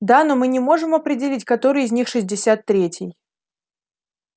да но мы не можем определить который из них шестьдесят третий